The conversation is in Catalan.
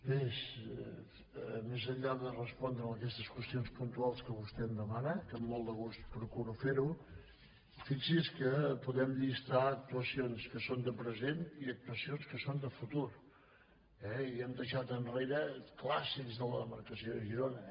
bé més enllà de respondre aquestes qüestions puntuals que vostè em demana que amb molt de gust procuro fer·ho fixi’s que podem llistar actuacions que són de present i actuacions que són de futur eh i hem dei·xat enrere clàssics de la demarcació de girona